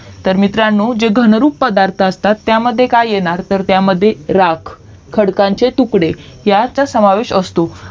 तर मित्रांनो घनरूप पदार्थ असतात त्या मध्ये काय येणार तर त्यामध्ये राख खडकांचे तुकडे हयातच समविस्त असतो